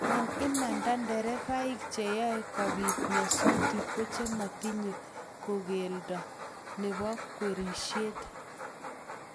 eng imanda nderefainik cheyoe kobiit nyasut kochematinye kogeldo nebo kwerishet